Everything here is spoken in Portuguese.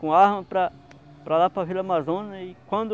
Com arma para para lá, para Vila Amazônia, e quando...